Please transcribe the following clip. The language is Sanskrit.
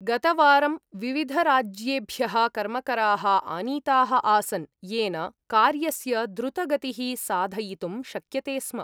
गतवारं विविधराज्येभ्यः कर्मकराः आनीताः आसन्, येन कार्यस्य द्रुतगतिः साधयितुं शक्यते स्म।